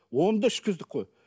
оны да ішкіздік қой